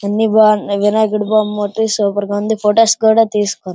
అన్ని బాగు-ఆ వినాయకుడి బొమ్మ అయితే సూపర్ గా ఉంది. ఫొటోస్ కూడా తీసుకు --